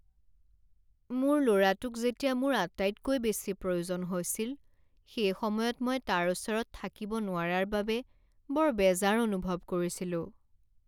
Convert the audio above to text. মোৰ ল'ৰাটোক যেতিয়া মোৰ আটাইতকৈ বেছি প্ৰয়োজন হৈছিল সেইসময়ত মই তাৰ ওচৰত থাকিব নোৱাৰাৰ বাবে বৰ বেজাৰ অনুভৱ কৰিছিলোঁ।